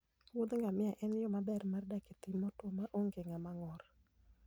muodh ngamia en yo maber mar dak e piny motwo ma onge ng'ama ng'ur.